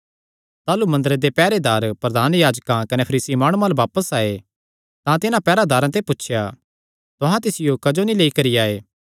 ताह़लू मंदरे दे पैहरेदार प्रधान याजकां कने फरीसी माणुआं अल्ल बापस आये तां तिन्हां पैहरेदारां ते पुछया तुहां तिसियो क्जो नीं लेई करी आये